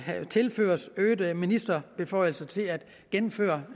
tilføres øget ministerbeføjelse til at indføre